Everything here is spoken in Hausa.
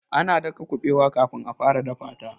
ana daka kubewar kafin a fara dafa ta